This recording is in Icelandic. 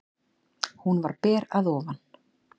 Hún var ber að ofan.